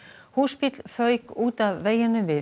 húsbíll fauk út af veginum við